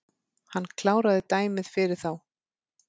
Hann kláraði dæmið fyrir þá